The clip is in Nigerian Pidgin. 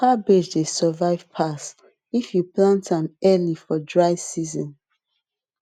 cabbage dey survive pass if you plant am early for dry season